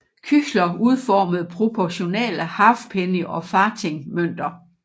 Küchler udformede proportionale halfpenny og farthing mønter